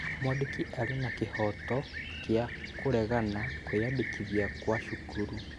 Mwandĩki arĩ na kĩhooto gĩa kũregana kwĩyandĩkithia gwa thukuru